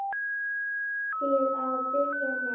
Til að byrja með.